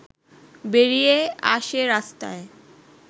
বেরিয়ে আসে রাস্তায়